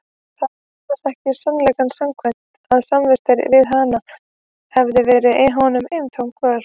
Það var annars ekki sannleikanum samkvæmt að samvistirnar við hana hefðu verið honum eintóm kvöl.